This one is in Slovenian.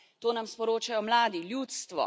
To nam sporočajo mladi, ljudstvo.